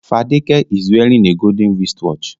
Fadeke is wearing a golden wristwatch